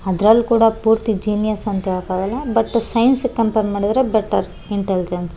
ಅದ್ರಲ್ಲ್ ಕೂಡ ಪೂರ್ತಿ ಜೀನಿಯಸ್ ಅಂತ ಹೇಳಕಾಗಲ್ಲ ಬಟ್ ಸೈನ್ಸ್ ಗೆ ಕಂಪೇರ್ ಮಾಡಿದ್ರೆ ಬೆಟ್ಟರ್ ಇಂಟೆಲಿಜೆನ್ಸ್ .